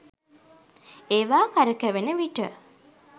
ඒවා කරකැවෙන විට